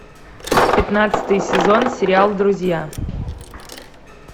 пятнадцатый сезон сериал друзья